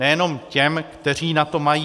Nejenom těm, kteří na to mají.